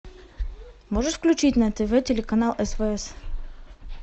можешь включить на тв телеканал свс